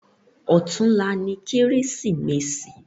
Òtúnlá ni Kérésimési